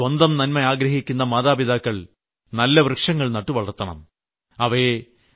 അതുകൊണ്ട് സ്വന്തം നന്മ ആഗ്രഹിക്കുന്ന മാതാപിതാക്കൾ നല്ല വൃക്ഷങ്ങൾ നട്ടുവളർത്തണം